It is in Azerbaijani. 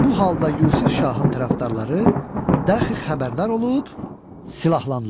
Bu halda Yusif şahın tərəfdarları, dəxi xəbərdar olub silahlandılar.